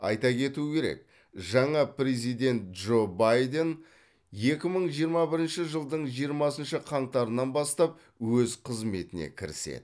айта кету керек жаңа президент джо байден екі мың жиырма бірінші жылдың жиырмасыншы қаңтарынан бастап өз қызметіне кіріседі